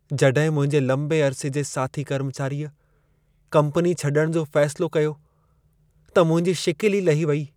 जॾहिं मुंहिंजे लंबे अरिसे जे साथी कर्मचारीअ कम्पनी छॾण जो फैसिलो कयो, त मुंहिंजी शिकिल ई लही वेई।